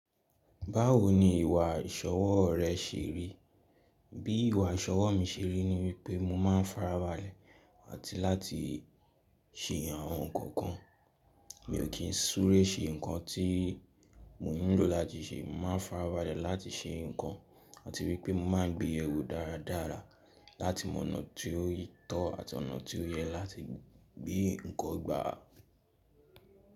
Báwo ni ìwà ìṣọwọ́ rẹ ṣe rí? Bí ìwà ìṣọwọ́ mi ṣe rí ní wípé mo máa ń farabalẹ̀ àti láti ṣe àwọn ǹkan kan. Mi ò kí ń súré ṣe ǹkan tí mo nílò láti ṣe. Mo máa ń farabalẹ̀ láti ṣe ǹkan àti wípé mo máa ń gbé yewo dára dára láti mọ ọ̀nà tí ó tó àti ọ̀nà tí ó yẹ láti gbé ǹkan gbà.